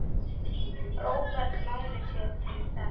Róbert Máni sér til þess.